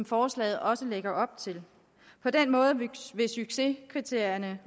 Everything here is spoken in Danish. forslaget også lægger op til på den måde vil succeskriterierne